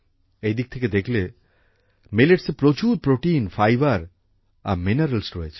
এই দিক থেকে দেখলে মিলেটসে প্রচুর প্রোটিন ফাইবার আর মিনারেলস রয়েছে